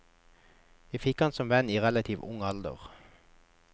Jeg fikk ham som venn i relativt ung alder.